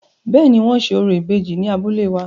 Bẹ́ẹ̀ni, wọ́n ṣe orò ìbejì ni abúlé wa.